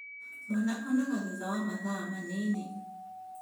Mwana onaga thutha wa mathaa manini